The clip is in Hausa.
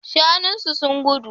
Shanun su sun gudu